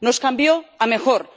Nos cambió a mejor.